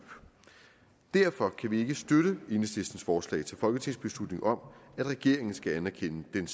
derfor kan vi ikke støtte enhedslistens forslag til folketingsbeslutning om at regeringen skal anerkende den